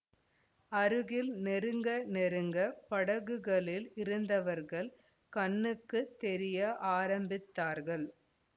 அருகில் நெருங்க நெருங்கப் படகுகளில் இருந்தவர்கள் கண்ணுக்கு தெரிய ஆரம்பித்தார்கள்